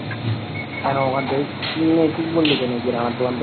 কেনো